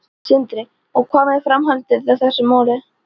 Sindri: Og hvað með framhaldið í þeim málum?